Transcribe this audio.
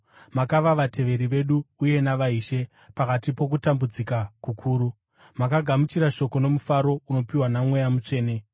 Makava vateveri vedu uye nevaIshe; pakati pokutambudzika kukuru, makagamuchira shoko nomufaro unopiwa naMweya Mutsvene.